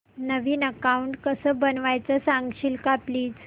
नवीन account कसं बनवायचं सांगशील का प्लीज